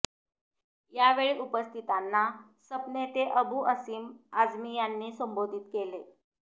यावेळी उपस्थितांना सप नेते अबु आसिम आझमी यांनी संबोधित केले